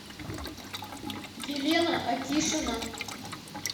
елена акишина